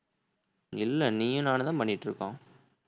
இல்ல நீயும் நானும் தான் பண்ணிட்டிருக்கோம்